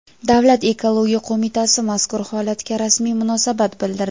Davlat ekologiya qo‘mitasi mazkur holatga rasmiy munosabat bildirdi.